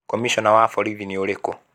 Komishona wa borithi nĩ ũrĩkũ?